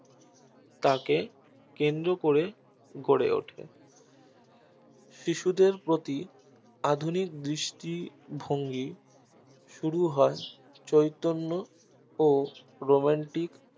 তাকে কেন্দ্র করে গড়ে ওঠে শিশুদের প্রতি আধুনিক দৃষ্টিভঙ্গি শুরু হয় চৈতন্য ও romantic